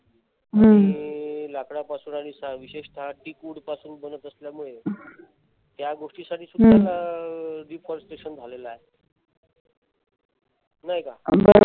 आणि लाकडा पासून आणि विशेषतः wood पासून बनत असल्यामुळे त्या गोष्टीसाठी सुद्धा deforestation झालेले आहे. नाही का?